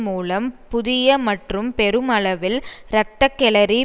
மூலம் புதிய மற்றும் பெருமளவில் இரத்த களரி